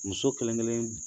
Muso kelen kelen